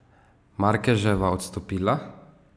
Markeževa odstopila.